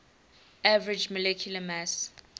average molecular mass